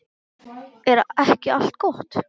Er ekki allt gott?